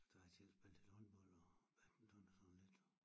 Så har jeg selv spillet lidt håndbold og badminton og sådan lidt